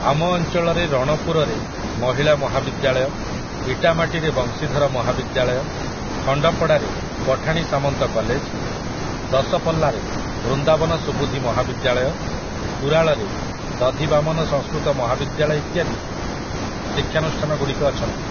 ଆମ ଅଞ୍ଚଳରେ ରଣପୁରରେ ମହିଳା ମହାବିଦ୍ୟାଳୟ, ଇଟାମାଟିରେ ବଂଶୀଧର ମହାବିଦ୍ୟାଳୟ, ଖଣ୍ଡପଡ଼ାରେ ପଠାଣି ସାମନ୍ତ କଲେଜ, ଦଶପଲ୍ଲାରେ ବୃନ୍ଦାବନ ସୁବୁଧି ମହାବିଦ୍ୟାଳୟ, କୁରାଳରେ ଦଧିବାମନ ସଂସ୍କୃତ ମହାବିଦ୍ୟାଳୟ ଇତ୍ୟାଦି ଶିକ୍ଷାନୁଷ୍ଠାନଗୁଡ଼ିକ ଅଛନ୍ତି ।